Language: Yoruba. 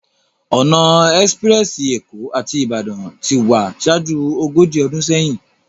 Òná èspirèsi Ékó áti Ibadan ti wá ṣájú ógóji ódún séyin